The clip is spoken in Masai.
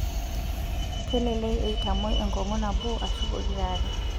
kelek eitamoi enkongu nabo ashu pokira are